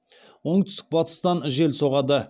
оңтүстік батыстан жел соғады